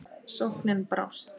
Sóknin brást.